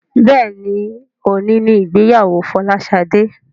Béèni òní ní ìgbéyàwó Folashade.